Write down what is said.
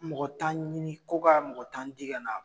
Mɔgɔ tan ɲini ko ka mɔgɔ tan di kana